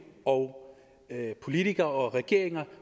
og politikere og regeringer